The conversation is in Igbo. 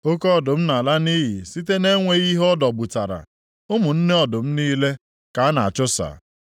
Oke ọdụm na-ala nʼiyi site na-enweghị ihe ọ dọgbutara, ụmụ nne ọdụm niile ka a na-achụsa.